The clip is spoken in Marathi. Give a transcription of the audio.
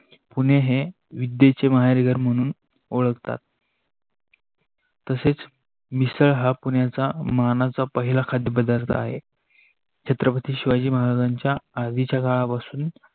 पुणे हे विद्येचे माहेरघर घर म्हणून ओळखता, तसेच मिसळ हा पुण्याचा मानाचा पहिला खाद्य पदार्थ आहे. छत्रपती शिवाजी महाराजांच्या आधीच्या काळा पासुन